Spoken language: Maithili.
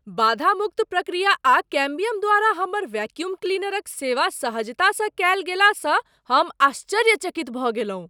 बाधा मुक्त प्रक्रिया आ कैम्बियम द्वारा हमर वैक्यूम क्लीनरक सेवा सहजतासँ कयल गेलासँ हम आश्चर्यचकित भऽ गेलहुँ।